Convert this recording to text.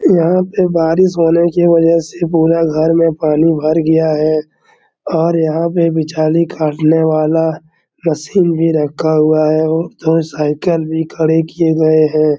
यहाँ पे बारिश होने के वजह से पूरा घर में पानी भर गया है और यहाँ पे बिछाली काटने वाला मशीन भी रखा हुआ है और साइकिल भी खड़े किये गए हैं।